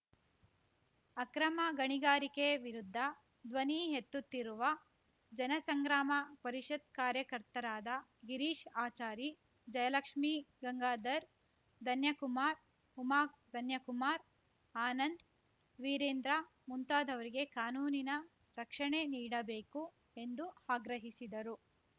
ಅಕ್ರಮ ಗಣಿಗಾರಿಕೆ ವಿರುದ್ಧ ಧ್ವನಿಎತ್ತುತ್ತಿರುವ ಜನಸಂಗ್ರಾಮ ಪರಿಷತ್‌ ಕಾರ್ಯಕರ್ತರಾದ ಗಿರೀಶ್‌ ಆಚಾರಿ ಜಯಲಕ್ಷ್ಮಿ ಗಂಗಾಧರ್‌ ಧನ್ಯಕುಮಾರ್‌ ಉಮಾ ಧನ್ಯಕುಮಾರ್‌ ಆನಂದ್‌ ವೀರೇಂದ್ರ ಮುಂತಾದವರಿಗೆ ಕಾನೂನಿನ ರಕ್ಷಣೆ ನೀಡಬೇಕು ಎಂದು ಆಗ್ರಹಿಸಿದರು